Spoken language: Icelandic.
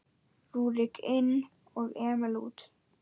Rúrik inn og Emil út?